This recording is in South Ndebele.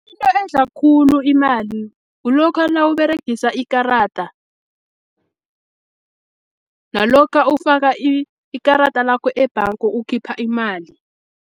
Into edla khulu imali, kulokha nawuberegisa ikarada, nalokha ufaka ikarada lakho ebhanga ukhipha imali.